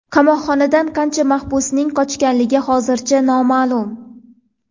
Qamoqxonadan qancha mahbusning qochganligi hozircha noma’lum.